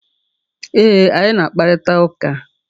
E, anyị na-akparịta ụka.